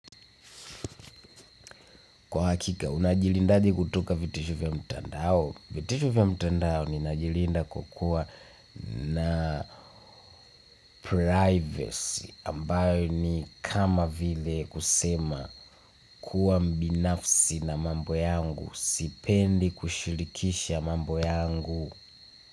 Kwa hakika, unajilindaje kutoka vitisho vya mtandao. Vitisho vya mtandao ninajilinda kwa kuwa na privacy ambayo ni kama vile kusema kuwa mbinafsi na mambo yangu. Sipendi kushirikisha mambo yangu.